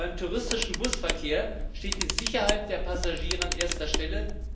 Beim touristischen Busverkehr steht die Sicherheit der Passagiere an erster Stelle.